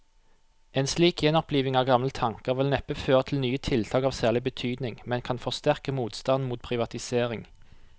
En slik gjenoppliving av gamle tanker vil neppe føre til nye tiltak av særlig betydning, men kan forsterke motstanden mot privatisering.